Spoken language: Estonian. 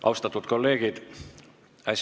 Austatud kolleegid!